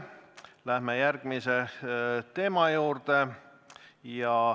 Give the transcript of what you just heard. Läheme järgmise teema juurde.